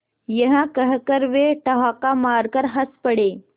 यह कहकर वे ठहाका मारकर हँस पड़े